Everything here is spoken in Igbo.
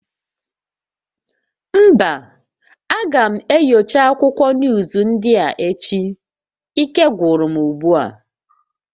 Mba, aga m enyocha akwụkwọ nuuzu ndị a echi, ike gwụrụ m ugbu a